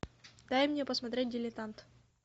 дай мне посмотреть дилетант